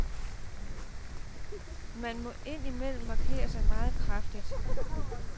Man må ind imellem markere sig meget kraftigt.